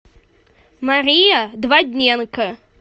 мария двадненко